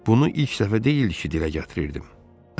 Bunu ilk dəfə deyildi ki, dilə gətirirdim.